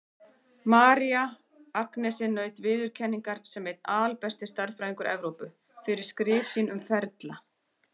María Agnesi naut viðurkenningar sem einn albesti stærðfræðingur Evrópu, fyrir skrif sín um ferla.